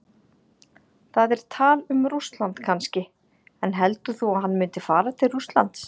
Það er tal um Rússland kannski, en heldur þú að hann myndi fara til Rússlands?